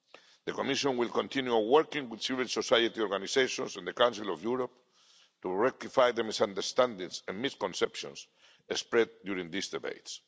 The Commission will continue working with civil society organisations and the Council of Europe to rectify the misunderstandings and misconceptions spread during these debates.